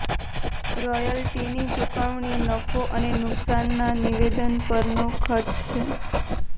રોયલ્ટીની ચુકવણી નફો અને નુકસાનના નિવેદન પરનો ખર્ચ છે